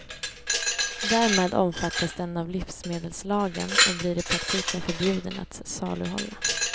Därmed omfattas den av livsmedelslagen och blir i praktiken förbjuden att saluhålla.